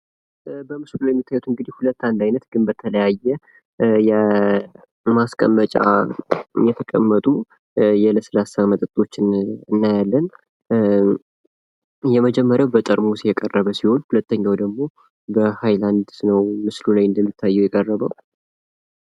በምስሉ ላይ የሚታዩት እንግዲህ ሁለት አንድ አይነት ግን በተለያየ የማስቀመጫ የተቀመጡ የለስላሳ መጠጠችን እናያለን። የመጀመርያው በጠርሙስ የቀረበ ሲሆን ሁለተኛው ደግሞ በ ሀይላንድ ነው ምስሉ ላይ እንደሚታየው የቀረበው።